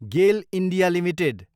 Gielle, India, limited